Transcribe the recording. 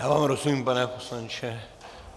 Já vám rozumím, pane poslanče.